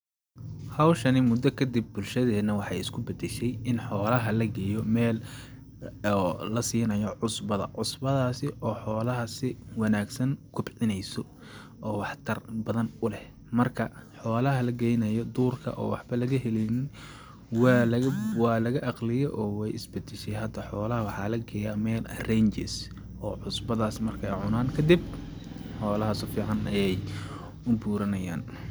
Hawshani mudda kadib bulshadeena waxeey isku badashay in xoolaha la geeyo meel oo la siinayo cusbada ,cusbadaasi oo xoolaha si wanaagsan kobcineeyso oo waxtar badan u leh ,marka xoolaha la geynayo duurka oo waxba laga heleynin waa laga ..,waa laga aqliye oo weey is badashay hada ,xoolaha waxaa la geyaa meel la dhaho ranges oo cusbadaas markeey cunaan kadib ,xoolaha si fiican ayeey u buuranayaan.